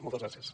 moltes gràcies